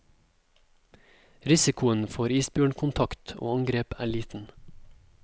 Risikoen for isbjørnkontakt og angrep er liten.